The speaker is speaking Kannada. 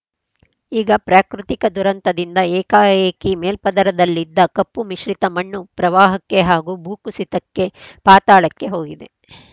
ಈಗ ಪ್ರಾಕೃತಿಕ ದುರಂತದಿಂದ ಏಕಾಏಕಿ ಮೇಲ್ಪದರದಲ್ಲಿದ್ದ ಕಪ್ಪು ಮಿಶ್ರಿತ ಮಣ್ಣು ಪ್ರವಾಹಕ್ಕೆ ಹಾಗೂ ಭೂಕುಸಿತಕ್ಕೆ ಪಾತಾಳಕ್ಕೆ ಹೋಗಿದೆ